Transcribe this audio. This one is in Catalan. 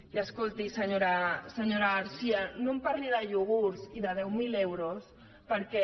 i escolti senyora garcía no em parli de iogurts i de deu mil euros perquè